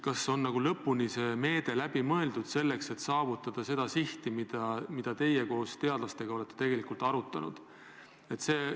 Kas see meede on lõpuni läbi mõeldud ja me saavutame sihi, mida te koos teadlastega olete arutanud?